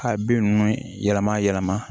Ka bin ninnu yɛlɛma yɛlɛma